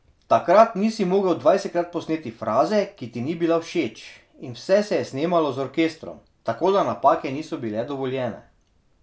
Takrat nisi mogel dvajsetkrat posneti fraze, ki ti ni bila všeč, in vse se je snemalo z orkestrom, tako da napake niso bile dovoljene.